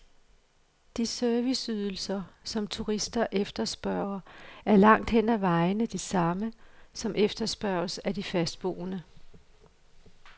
De serviceydelser, som turister efterspørger, er langt hen ad vejen de samme, som efterspørges af de fastboende.